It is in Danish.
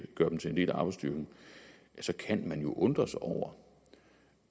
gøre dem til en del af arbejdsstyrken ja så kan man jo undre sig over